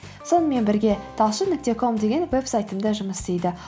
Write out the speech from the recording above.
сонымен бірге талшын нүкте ком деген вебсайтым да жұмыс істейді